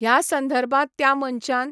ह्या संधर्भात त्या मनशान